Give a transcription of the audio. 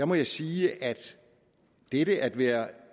må jeg sige at dette at være